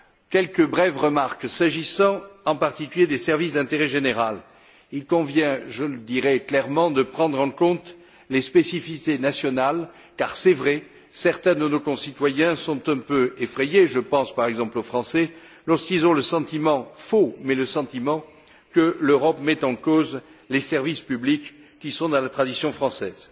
Quelques brèves remarques s'agissant en particulier des services d'intérêt général, il convient je le dirai clairement de prendre en compte les spécificités nationales car il est vrai que certains de nos concitoyens sont un peu effrayés je pense par exemple aux Français lorsqu'ils ont à tort le sentiment que l'Europe met en cause les services publics qui sont dans la tradition française.